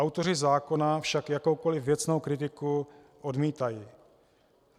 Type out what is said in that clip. Autoři zákona však jakoukoliv věcnou kritiku odmítají.